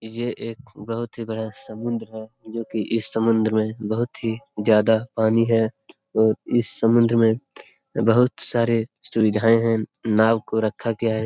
ये एक बहुत ही बड़ा समुन्द्र है जोकि इस समुन्द्र में बहुत ही ज्यादा पानी है और इस समुन्द्र में बहुत सारे सुविधाएं है नाव को रखा गया है।